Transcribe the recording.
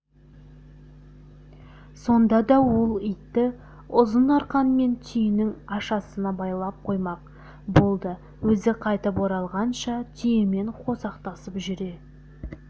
сонда ол итті ұзын арқанмен түйенің ашасына байлап қоймақ болды өзі қайтып оралғанша түйемен қосақтасып жүре